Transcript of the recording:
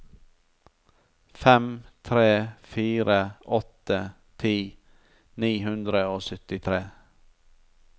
fem tre fire åtte ti ni hundre og syttitre